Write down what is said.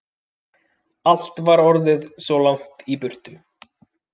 Allt var orðið svo langt í burtu.